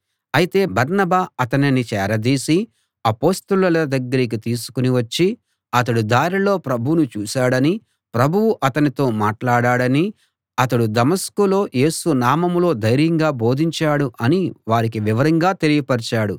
అయితే బర్నబా అతనిని చేరదీసి అపొస్తలుల దగ్గరికి తీసుకుని వచ్చి అతడు దారిలో ప్రభువును చూశాడనీ ప్రభువు అతనితో మాట్లాడాడనీ అతడు దమస్కులో యేసు నామంలో ధైర్యంగా బోధించాడు అనీ వారికి వివరంగా తెలియపరచాడు